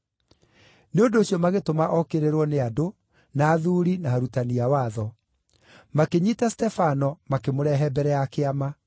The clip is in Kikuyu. Nĩ ũndũ ũcio magĩtũma okĩrĩrwo nĩ andũ, na athuuri, na arutani a watho. Makĩnyiita Stefano makĩmũrehe mbere ya Kĩama.